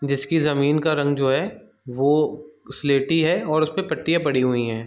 जिसकी जमीन का रंग जो है वो स्लेटी है और उस पे पट्टियां पड़ी हुई है।